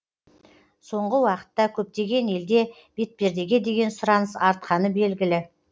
соңғы уақытта көптеген елде бетпердеге деген сұраныс артқаны белгілі